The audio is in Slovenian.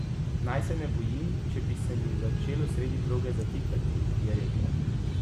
Naj se ne bojim, če bi se mi začelo sredi proge zatikati, je rekel.